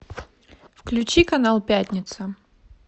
включи канал пятница